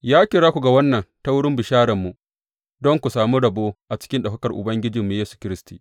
Ya kira ku ga wannan ta wurin bishararmu, don ku sami rabo a cikin ɗaukakar Ubangijinmu Yesu Kiristi.